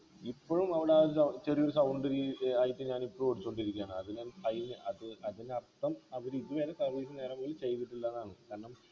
ഇപ്പോഴും ചെറിയൊരു sound air ആയിട്ട് ഞാനിപ്പോഴും ഓടിച്ചോണ്ടിരിക്കയാണ് അത് ഞാൻ അത് അത് അതിനർത്ഥം അവരിതുവരെ service നേരാംവണ്ണം ചെയ്തിട്ടില്ലന്നാണ് കാരണം